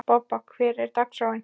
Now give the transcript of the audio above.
Bobba, hvernig er dagskráin?